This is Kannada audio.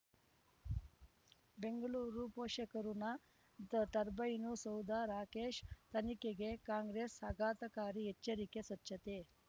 ಬೆಂಗಳೂರು ಪೋಷಕಋಣ ತ ತರ್ಬೈನು ಸೌಧ ರಾಕೇಶ್ ತನಿಖೆಗೆ ಕಾಂಗ್ರೆಸ್ ಆಘಾತಕಾರಿ ಎಚ್ಚರಿಕೆ ಸ್ವಚ್ಛತೆ